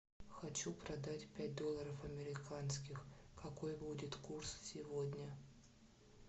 хочу продать пять долларов американских какой будет курс сегодня